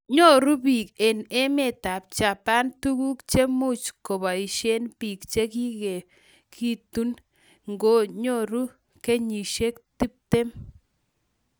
Nyoru biik eng emetab Japan tuguk chemuch kobaishe biik chegikoegigitu ngori kenyishiek tuptem